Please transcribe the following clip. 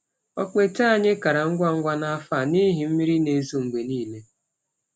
Ọkpete anyị kara ngwa ngwa n’afọ a n’ihi mmiri na-ezo mgbe niile.